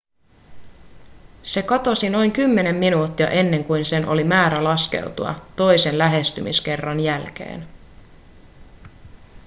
se katosi noin kymmenen minuuttia ennen kuin sen oli määrä laskeutua toisen lähestymiskerran jälkeen